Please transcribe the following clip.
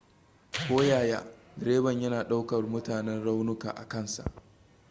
koyaya direban yana ɗaukar munanan raunuka a kan sa